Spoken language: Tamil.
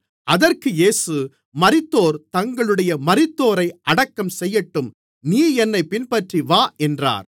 அதற்கு இயேசு மரித்தோர் தங்களுடைய மரித்தோரை அடக்கம் செய்யட்டும் நீ என்னைப் பின்பற்றிவா என்றார்